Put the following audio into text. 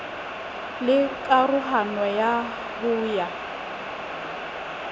la karohano ya ho ya